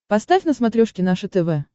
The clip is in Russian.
поставь на смотрешке наше тв